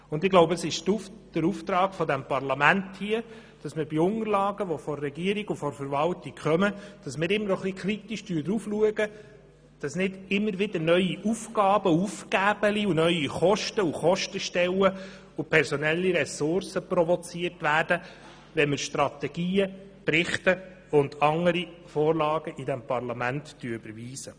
Meines Erachtens ist es Aufgabe des Parlaments, die Unterlagen der Regierung und der Verwaltung kritisch zu betrachten und darauf zu achten, dass nicht immer wieder neue Aufgaben, Kostenstellen und personelle Ressourcen provoziert werden, wenn wir Strategien, Berichte und andere Vorlagen überweisen.